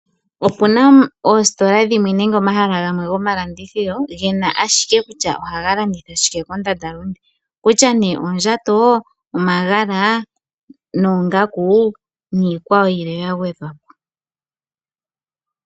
Opuna oositola dhimwe nenge omahala gamwe gomalandithilo gena ashike kutya ohaga landitha shike kondandalunde okutya nee oondjato, omagala noongaku niikwawo yilwe yagwedhwa po.